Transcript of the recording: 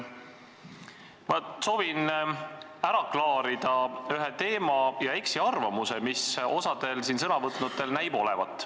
Ma soovin ära klaarida ühe teema ja eksiarvamuse, mis osal siin sõna võtnutel näib olevat.